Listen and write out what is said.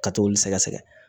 Ka t'olu sɛgɛ sɛgɛ